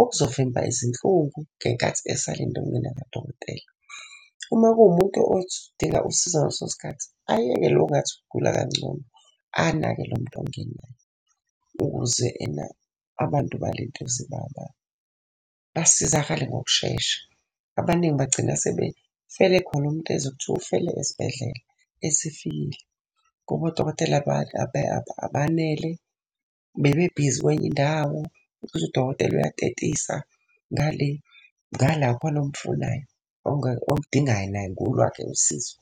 okuzovimba izinhlungu ngenkathi esalinde ukungena kadokotela. Uma kuwumuntu othi udinga usizo ngaleso sikhathi, ayeke lo ngathi ugula kangcono, anake lo muntu ongenayo. Ukuze ena abantu balentuze basizakale ngokushesha. Abaningi bagcina sebefele khona, umuntu ezwe kuthiwa ufele esibhedlela esefikile. Ngoba odokotela abanele, bebe bhizi kwenye indawo. Uzwe udokotela uyatetisa ngale, ngala khona omfunayo omudingayo naye ngolwakhe usizo.